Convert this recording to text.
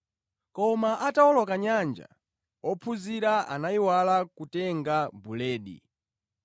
Koma atawoloka nyanja, ophunzira anayiwala kutenga buledi.